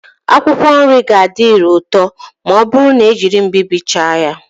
Akwụkwọ nri ga-adị ire ụtọ ma ọ bụrụ na ejiri mbibie chaa ya